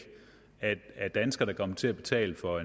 at danskerne kan komme til at betale for